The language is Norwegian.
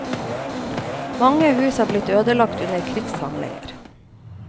Mange hus er blitt ødelagt under krigshandlinger.